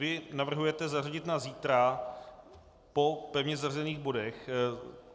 Vy navrhujete zařadit na zítra po pevně zařazených bodech.